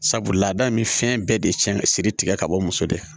Sabula laada in bɛ fɛn bɛɛ de cɛn ka siri tigɛ ka bɔ muso de la